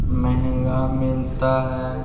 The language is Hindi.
महंगा मिलता हैं ।